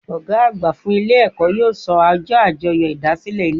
Ògá àgbà fún Ilé èkó yóò so ojó àjoyò ìdásílè Ilé èkó